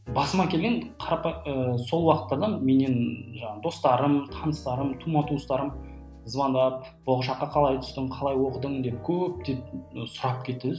басыма келген ы сол уақыттардан менен жаңағы достарым таныстарым тума туыстарым звондвап болашаққа қалай түстің қалай оқыдың деп көптеп сұрап кетті де